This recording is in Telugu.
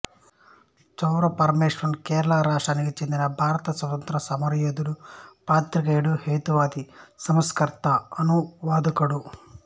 చౌర పరమేశ్వరన్ కేరళ రాష్ట్రానికి చెందిన భారత స్వాతంత్ర్య సమరయోధుడు పాత్రికేయుడు హేతువాది సంస్కర్త అనువాదకుడు